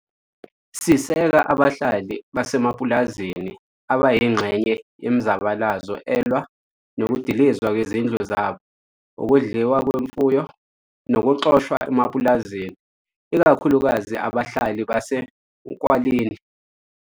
Siseka abahlali basemapulazini abayingxenye yemizabalazo elwa nokudilizwa kwezindlu zabo, ukudliwa kwemfuyo nokuxoshwa emapulazini, ikakhulukazi abahlali base Nkwalini.